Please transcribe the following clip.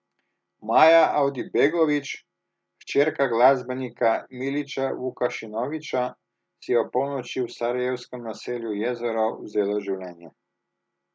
Maja Avdibegović, hčerka glasbenika Milića Vukašinovića, si je ob polnoči v sarajevskem naselju Jezero vzela življenja.